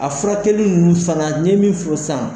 A furakɛli nunnu fana n ye min f'i ye sisan